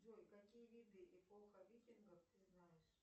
джой какие виды эпоха викингов ты знаешь